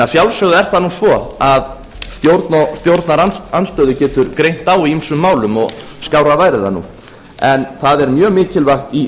að sjálfsögðu er það nú svo að stjórn og stjórnarandstöðu getur greint á í ýmsum málum og skárra væri það nú en það er mjög mikilvægt í